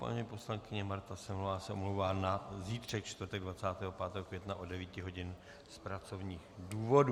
Paní poslankyně Marta Semelová se omlouvá na zítřek, čtvrtek 25. května, od 9 hodin z pracovních důvodů.